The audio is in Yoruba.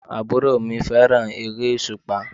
Àwọn àbúrò mi fẹ́ràn eré òsùpá